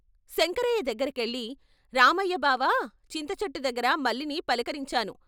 శంకరయ్య దగ్గరకెళ్ళి " రామయ్య బావా చింతచెట్టు దగ్గర మల్లిని పలకరించాను.